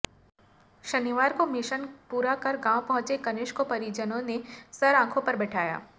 शनिवार को मिशन पूरा कर गांव पहुंचे कनिष्क को परिजनों ने सर आंखो पर बिठाया